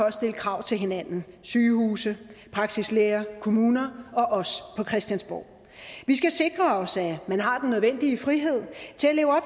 at stille krav til hinanden sygehuse praksislæger kommuner og os på christiansborg vi skal sikre os at man har den nødvendige frihed til at leve op